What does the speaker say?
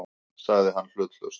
sagði hann hlutlaust.